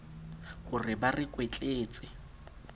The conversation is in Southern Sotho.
ho re ba re kwetletse